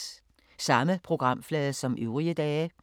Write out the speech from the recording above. Samme programflade som øvrige dage